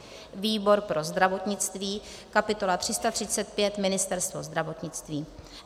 výbor pro zdravotnictví kapitola 335 - Ministerstvo zdravotnictví;